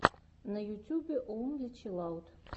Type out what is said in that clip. на ютюбе онли чилаут